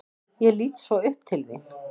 Ég lít svo upp til þín.